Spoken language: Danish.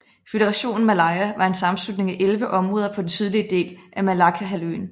Føderationen Malaya var en sammenslutning af 11 områder på den sydlige del af Malaccahalvøen